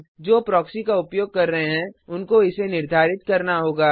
जो प्रॉक्सी का उपयोग कर रहे हैं उनको इसे निर्धारित करना होगा